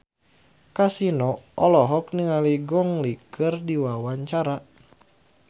Kasino olohok ningali Gong Li keur diwawancara